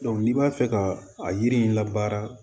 n'i b'a fɛ ka a yiri in la baara